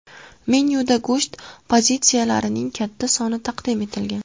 Menyuda go‘sht pozitsiyalarining katta soni taqdim etilgan.